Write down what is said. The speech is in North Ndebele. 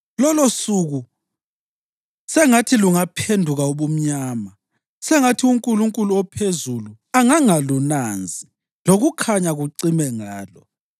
Lolosuku sengathi lungaphenduka ubumnyama; sengathi uNkulunkulu ophezulu angangalunanzi; lokukhanya kucime ngalo.